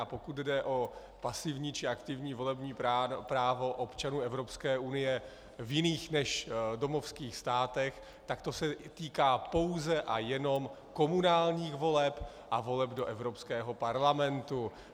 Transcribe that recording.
A pokud jde o pasivní či aktivní volební právo občanů Evropské unie v jiných než domovských státech, tak se to týká pouze a jenom komunálních voleb a voleb do Evropského parlamentu.